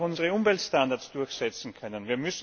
Wir müssen auch unsere Umweltstandards durchsetzen können.